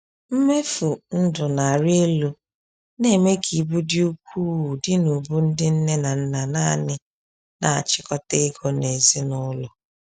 Mmefu ndụ na-arị elu na-eme ka ibu dị ukwuu dị n’ubu ndị nne na nna nanị na-achịkọta ego n’ezinụlọ.